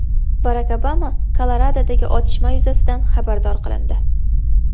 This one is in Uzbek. Barak Obama Koloradodagi otishma yuzasidan xabardor qilindi.